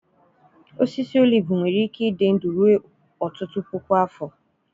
Osisi olive nwere ike ịdị ndụ ruo ọtụtụ puku afọ.